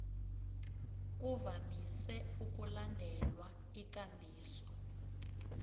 kuvamise ukulandelwa ikambiso